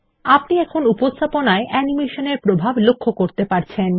আপনি এখন উপস্থাপনায় অ্যানিমেশন এর প্রভাব লক্ষ্য করতে পারছেন